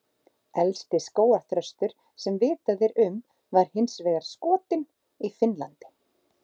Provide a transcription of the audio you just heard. Elsti skógarþröstur sem vitað er um var hins vegar skotinn í Finnlandi.